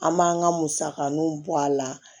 An m'an ka musakaninw bɔ a la